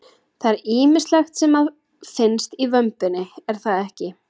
Það er ýmislegt sem að finnst í vömbinni er það ekki?